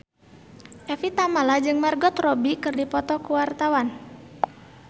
Evie Tamala jeung Margot Robbie keur dipoto ku wartawan